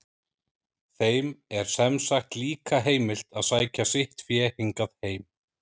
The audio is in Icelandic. Þeim er sem sagt líka heimilt að sækja sitt fé hingað heim.